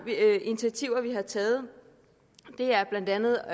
initiativer vi har taget har blandt andet